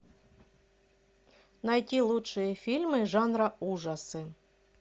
найти лучшие фильмы жанра ужасы